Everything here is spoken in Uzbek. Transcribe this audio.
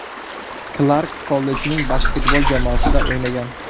Klark kollejning basketbol jamoasida o‘ynagan.